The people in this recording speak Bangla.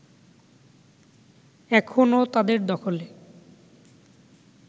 এখনও তাদের দখলে